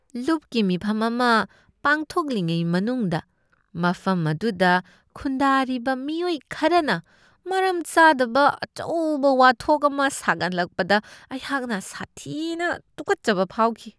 ꯂꯨꯞꯀꯤ ꯃꯤꯐꯝ ꯑꯃ ꯄꯥꯡꯊꯣꯛꯂꯤꯉꯩ ꯃꯅꯨꯡꯗ ꯃꯐꯝ ꯑꯗꯨꯗ ꯈꯨꯟꯗꯥꯔꯤꯕ ꯃꯤꯑꯣꯏ ꯈꯔꯅ ꯃꯔꯝ ꯆꯥꯗꯕ ꯑꯆꯧꯕ ꯋꯥꯊꯣꯛ ꯑꯃ ꯁꯥꯒꯠꯂꯛꯄꯗ ꯑꯩꯍꯥꯛꯅ ꯁꯥꯊꯤꯅ ꯇꯨꯀꯠꯆꯕ ꯐꯥꯎꯈꯤ ꯫